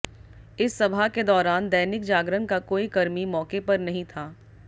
इस सभा के दौरान दैनिक जागरण का कोई कर्मी मौके पर नहीं था